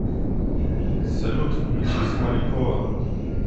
салют включи смолякова